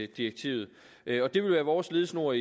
direktivet det vil være vores ledetråd